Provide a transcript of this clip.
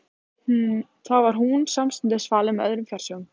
Þar var hún samstundis falin með öðrum fjársjóðum.